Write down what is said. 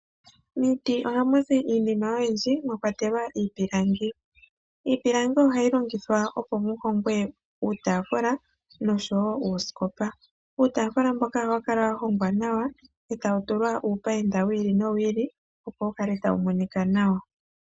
Miiti ohamu zi iinima oyindji mwakwatelwa iipilangi. Iipilangi ohayi longitha opo mu hongwe uutafula nosho wo uuskopa. Uutafula mboka ohawu kala wa hongwa nawa, etawu tulwa opayinda owili no wili, opo wukale tawu monika nawa.